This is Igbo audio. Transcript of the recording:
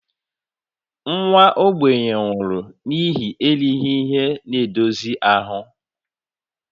Nwa ogbenye nwụrụ n'ihi erighị ihe na-edozi ahụ